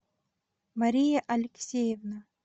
мария алексеевна